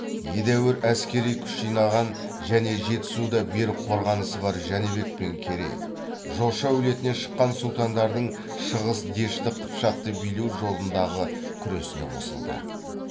едәуір әскери күш жинаған және жетісуда берік қорғанысы бар жәнібек пен керей жошы әулетінен шыққан сұлтандардың шығыс дешті қыпшақты билеу жолындағы күресіне қосылды